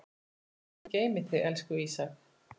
Guð geymi þig, elsku Ísak.